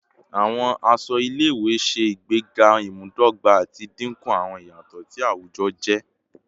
Awọn aṣọ ile-iwe ṣe igbega imudogba ati dinku awọn iyatọ ti awujọ-aje